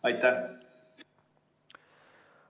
Aitäh!